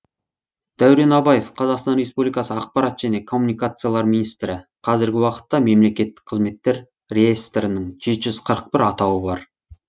дәурен абаев қазақстан республикасы ақпарат және коммуникациялар министрі қазіргі уақытта мемлекеттік қызметтер реестрінің жеті жүз қырық бір атауы бар